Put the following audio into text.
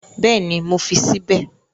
Bẹ́ẹ̀ni, mo fi sí bẹ̀